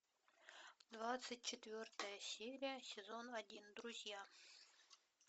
двадцать четвертая серия сезон один друзья